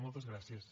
moltes gràcies